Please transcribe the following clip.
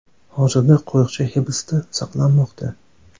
Hozirda qo‘riqchi hibsda saqlanmoqda.